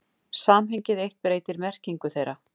Samhengið eitt breytir merkingu þeirra.